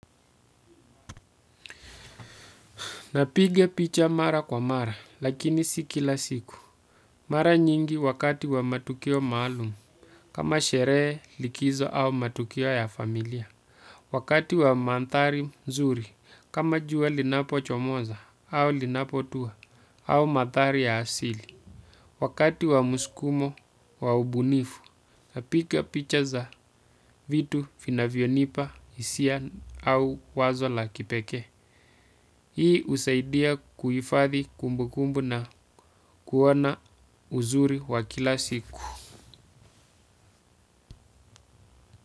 Napiga picha mara kwa mara lakini si kila siku mara nyingi wakati wa matukio maalumu, kama sherehe, likizo au matukio ya familia. Wakati wa mandhari nzuri, kama jua linapochomoza au linapotuwa au mandhari ya asili. Wakati wa musukumo wa ubunifu, napiga picha za vitu vinavyonipa hisia au wazo la kipekee. Hii husaidia kuifadhi kumbukumbu na kuona uzuri wa kila siku.